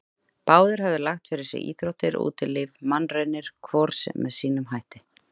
Báðir höfðu lagt fyrir sig íþróttir, útilíf og mannraunir, hvor með sínum hætti.